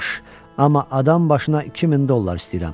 Yaxşı, amma adambaşına 2000 dollar istəyirəm.